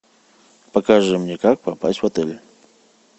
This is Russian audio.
покажи мне как попасть в отель